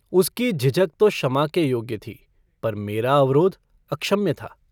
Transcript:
उसकी झिझक तो क्षमा के योग्य थी पर मेरा अवरोध अक्षम्य था।